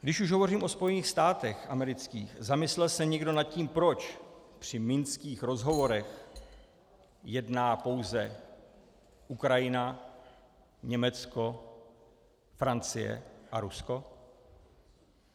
Když už hovořím o Spojených státech amerických, zamyslel se někdo nad tím, proč při minských rozhovorech jedná pouze Ukrajina, Německo, Francie a Rusko?